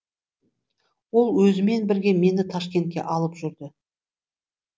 ол өзімен бірге мені ташкентке алып жүрді